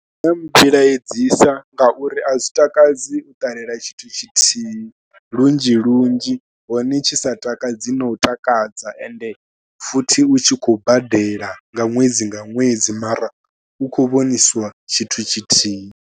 Zwi nga mmbilaedzisa ngauri a zwi takadzi u ṱalela tshithu tshithihi lunzhi lunzhi hone tshi sa takadzi na u takadza ende futhi u tshi khou badela nga ṅwedzi nga ṅwedzi mara u khou vhonisiwa tshithu tshithihi.